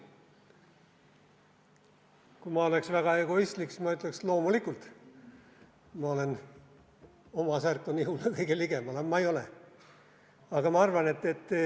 Kui ma oleks väga egoistlik, siis ma ütleks, et loomulikult ma olen – oma särk on ihule kõige ligemal –, aga ma ei ole.